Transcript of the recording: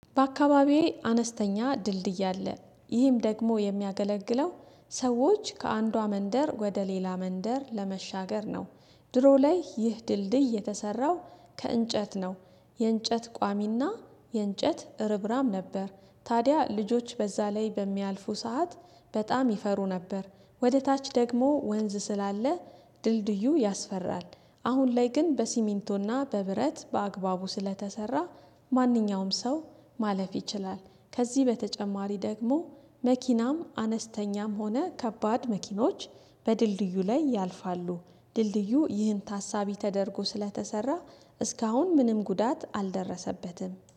በአካባቢዬ አነስተኛ ድልድይ አለ ይህም ደግሞ የሚያገለግለው ሰዎች ከአንዷ መንደር ወደ ሌላ መንደር ለመሻገር ነው። ድሮ ላይ ይህ ድልድይ የተሰራው ከእንጨት ነው። የእንጨት ቋሚና የእንጨት ርብራም ነበር። ታዲያ ልጆች በዛ ላይ በሚያልፉ ሰዓት በጣም ይፈሩ ነበር ወደ ታች ደግሞ ወንዝ ስላለ ድልድዩ ያስፈራል። አሁን ላይ ግን በሲሚንቶና በብረት በአግባቡ ስለተሰራ ማንኛውም ሰው ማለፍ ይችላል። ከዚህ በተጨማሪ ደግሞ መኪናም አነስተኛም ሆነ ከባድ መኪኖች በድልድዩ ላይ ያልፋሉ። ድልድዩ ይህን ታሳቢ ተደርጎ ስለተሰራ እስካሁን ምንም ጉዳት አልደረሰበትም